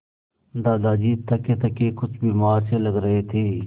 दादाजी थकेथके कुछ बीमार से लग रहे थे